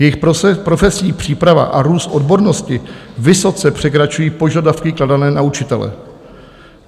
Jejich profesní příprava a růst odbornosti vysoce překračují požadavky kladené na učitele.